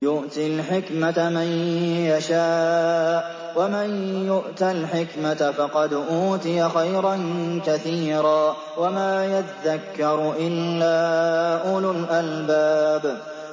يُؤْتِي الْحِكْمَةَ مَن يَشَاءُ ۚ وَمَن يُؤْتَ الْحِكْمَةَ فَقَدْ أُوتِيَ خَيْرًا كَثِيرًا ۗ وَمَا يَذَّكَّرُ إِلَّا أُولُو الْأَلْبَابِ